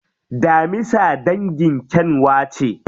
Daminsa dangin kyanwa ce.